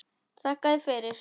Þakka þér fyrir.